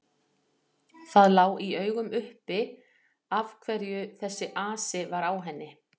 Það lá í augum uppi af hverju þessi asi var á henni.